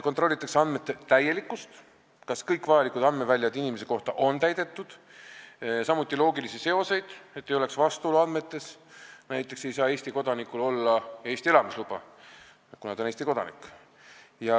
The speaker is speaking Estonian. Kontrollitakse andmete täielikkust, seda, kas kõik vajalikud andmeväljad inimese kohta on täidetud, samuti loogilisi seoseid, et andmetes ei oleks vastuolu, näiteks ei saa inimesel olla Eesti elamisluba, kui ta on Eesti kodanik.